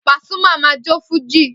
Pasuma ma jó fújì